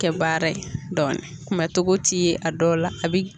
Kɛ baara ye dɔɔnin, kunbɛ cogo ti ye a dɔw la.